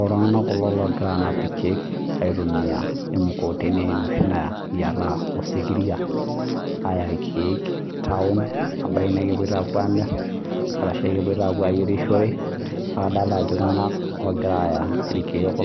Ore iltung'ana kulo ogira anap irkeek aitumia emukokoteni enoshi nayiata osikiria Aya irkeek taona ebaiki naa kepuoito amir arashu kepuoito ayierishore kake kadolita Ajo iltung'ana ogira ayaa irkeek